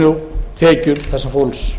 og atvinnutekjur þessa fólks